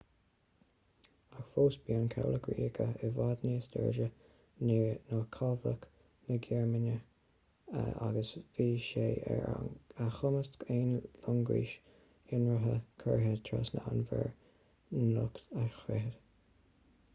ach fós bhí an cabhlach ríoga i bhfad níos láidre ná cabhlach na gearmáine kriegsmarine” agus bhí sé ar a chumas aon loingeas ionraidh curtha trasna an mhuir niocht a scriosadh